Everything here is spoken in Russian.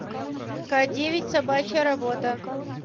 к девять собачья работа